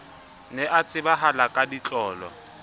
ne a tsebahala ka ditlolo